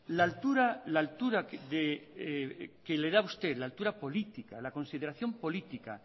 la altura la altura que le da usted la altura política la consideración política